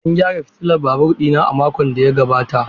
An gyara fitilar babur ɗina a makon da ya gabata.